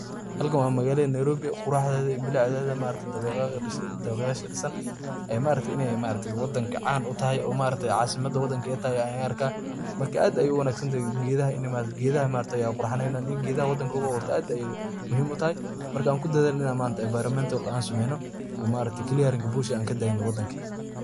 Halkan wa magalada Nairobi, quraxdetha iyo beecdetha dawaqyasha ladesay amah disaan ee maaragtay wadanga can u tahay oo maaragtay casimada wadanga Kenya Aya halkan ka arkah marka aad Aya u wanagsantahay keethaha ini maaragtay Qurax saneynayin Geetha wadanga lagu abuurtoh aad ba muhim u tahay marka an kudathalnoo environmental aan sameeynoh oo maaragtay clearing bush AA kadanynoh wadanka .